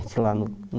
lá no no